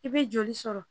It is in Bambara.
I bɛ joli sɔrɔ